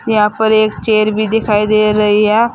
यहां पर एक चेयर भी दिखाई दे रही है।